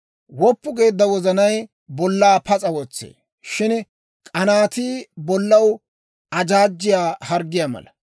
Woppu geedda wozanay bollaa pas'a wotsee; shin k'anaatii bollaw ajaajjiyaa harggiyaa mala.